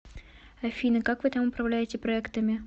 афина как вы там управляете проектами